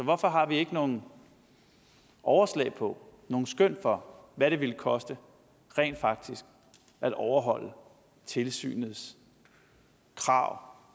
hvorfor har vi ikke nogen overslag på nogen skøn for hvad det ville koste rent faktisk at overholde tilsynets krav